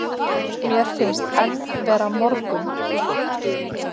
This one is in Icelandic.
Mér finnst enn vera morgunn.